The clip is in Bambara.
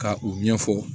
Ka u ɲɛfɔ